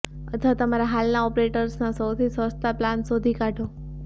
અથવા તમારા હાલના ઓપરેટર્સના સૌથી સસ્તા પ્લાન શોધી કાઢો